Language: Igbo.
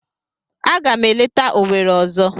Aga m eleta Owere ozo.